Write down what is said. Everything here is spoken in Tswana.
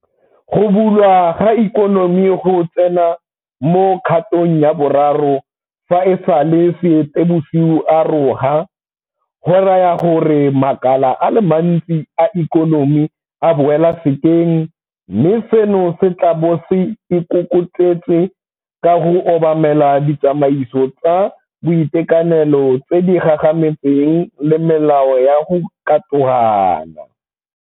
Go bulwa ga ikonomiGo tsena mo kgatong ya boraro fa e sale Seetebosigo a roga, go raya gore makala a le mantsi a ikonomi a boela sekeng, mme seno se tla bo se ikokotletse ka go obamela ditsamaiso tsa boitekanelo tse di gagametseng le melao ya go katogana.